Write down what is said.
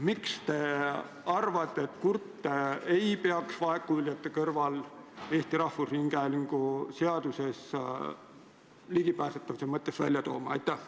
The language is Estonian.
Miks te arvate, et kurte ei peaks vaegkuuljate kõrval Eesti Rahvusringhäälingu seaduses ligipääsetavuse mõttes esile tooma?